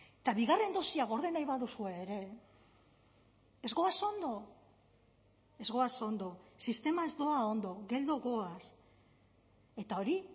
eta bigarren dosia gorde nahi baduzue ere ez goaz ondo ez goaz ondo sistema ez doa ondo geldo goaz eta hori